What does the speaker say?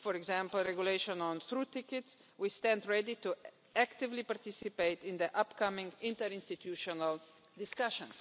for example, regulation on through tickets, we stand ready to actively participate in the upcoming interinstitutional discussions.